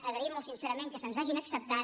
agraïm molt sincerament que se’ns hagin acceptat